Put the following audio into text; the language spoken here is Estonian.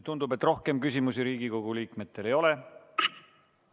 Tundub, et rohkem küsimusi Riigikogu liikmetel ei ole.